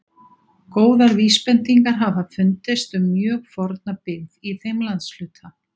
Góðar vísbendingar hafa fundist um mjög forna byggð í þeim landshluta.